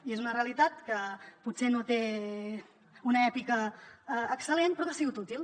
i és una realitat que potser no té una èpica excel·lent però que ha sigut útil